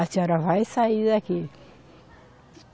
A senhora vai sair daqui.